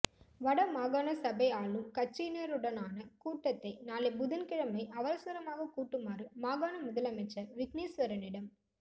வட மாகாண சபை ஆளும் கட்சியினருடனான கூட்டத்தை நாளை புதன்கிழமை அவசரமாகக் கூட்டுமாறு மாகாண முதலமைச்சர் விக்னேஸ்வரனிடம்